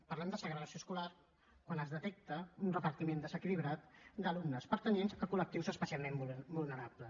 parlem de segregació escolar quan es detecta un repartiment desequilibrat d’alumnes que pertanyen a col·lectius especialment vulnerables